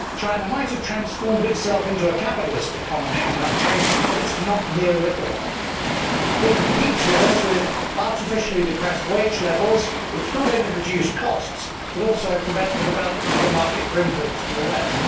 China might have transformed itself into a capitalist economy and country but it is not neo liberal. It competes with us with artificially depressed wage levels, which not only reduce costs, but also prevent the development of a market for imports from the West.